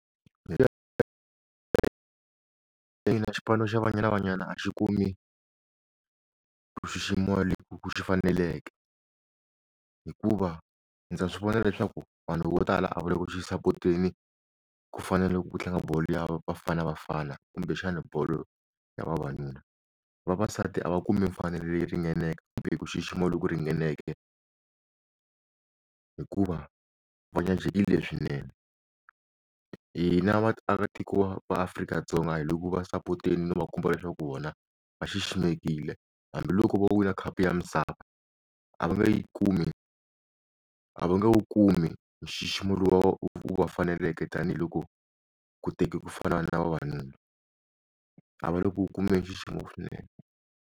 xipano xa banyana banyana a xi kumi ku xiximiwa ku xi faneleke hikuva ndza swi vona leswaku vanhu vo tala a vale ku xi sapoteni ku fanele ku tlanga bolo ya bafana bafana kumbe xana bolo ya vavanuna, vavasati a va kumi mfanelo leyi ringaneke kumbe ku xixima loku ringaneke hikuva vanyajekile swinene hina a vaaka tiko eAfrika-Dzonga hi le ku va sapoteni no va kuma leswaku vona va xiximekile hambiloko va wina khapu ya misava a va nga yi kumi a va nga wu kumi nxiximo lowu u va faneleke tanihiloko ku teka ku fana na vavanuna a va loko u kumbe nxiximo swinene.